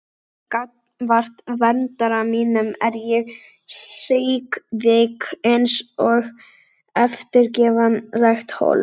Gagnvart verndara mínum er ég síkvik einsog eftirgefanlegt hold.